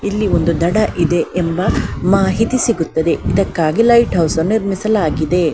ಇಲ್ಲಿ ಒಂದು ದಡ ಇದೆ ಎಂಬ ಮಾಹಿತಿ ಸಿಗುತ್ತಿದೆ ಇದಕ್ಕಾಗಿ ಲೈಟ್ ಹೌಸ್ ಅನ್ನು ನಿರ್ಮಿಸಲಾಗಿದೆ.